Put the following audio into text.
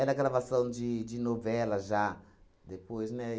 a gravação de de novela já, depois, né?